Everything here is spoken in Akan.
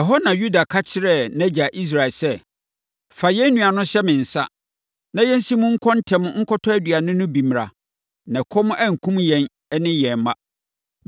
Ɛhɔ na Yuda ka kyerɛɛ nʼagya Israel sɛ, “Fa yɛn nua no hyɛ me nsa, na yɛnsi mu nkɔ ntɛm nkɔtɔ aduane no bi mmra, na ɛkɔm ankum yɛn ne wo ne yɛn mma.